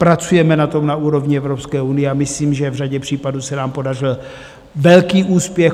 Pracujeme na tom na úrovni Evropské unie a myslím, že v řadě případů se nám podařil velký úspěch.